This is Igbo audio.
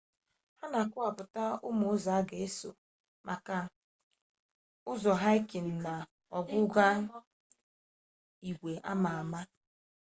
ha na akọwapụtakwa ụmụ ụzọ a ga-eso maka ụzọ haịkịnụ na ọghụgha igwe ama ama